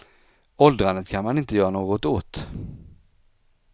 Åldrandet kan man inte göra något åt.